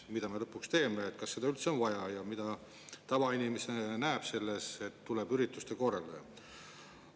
Mida me lõpuks teeme, kas seda üldse on vaja ja mida tavainimene näeb selles, et tuleb ürituste korraldaja?